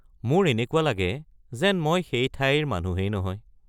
মোৰ এনেকুৱা লাগে যেন মই সেই ঠাইৰ মানুহেই নহয়।